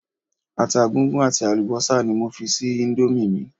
Ata gúngún àti àlùbọ́sà ni mo fi sí íńdómì mi.